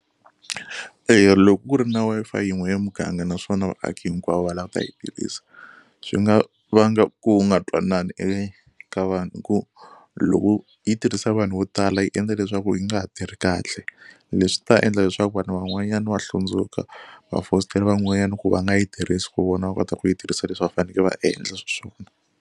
Eya loko ku ri na Wi-Fi yin'we ya muganga naswona vaaki hinkwavo va lava ta yi tirhisa swi nga vanga ku nga twanani eka vanhu hi ku loko yi tirhisa hi vanhu vo tala yi endla leswaku yi nga ha tirhi kahle. Leswi ta endla leswaku vanhu van'wanyana va hlundzuka va fositela van'wanyana ku va nga yi tirhisi ku vona va kota ku yi tirhisa leswi va faneke va endla swi swona.